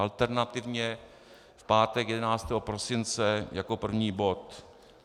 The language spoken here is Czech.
Alternativně v pátek 11. prosince jako první bod.